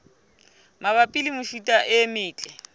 mabapi le mefuta e metle